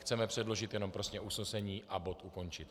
Chceme předložit jenom prostě usnesení a bod ukončit.